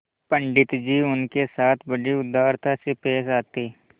पंडित जी उनके साथ बड़ी उदारता से पेश आते